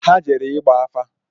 Ha jere ịgba afa